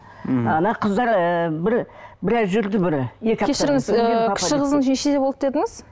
м ана қыздар ы бір біраз жүрді бір кешіріңіз кіші қызыңыз нешеде болды дедіңіз